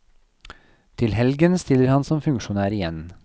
Til helgen stiller han som funksjonær igjen.